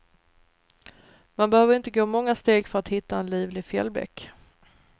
Man behöver inte gå många steg för att hitta en livlig fjällbäck.